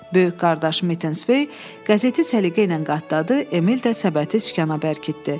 Böyük qardaşı Mittensvey qəzeti səliqə ilə qatladı, Emil də səbəti sükana bərkitdi.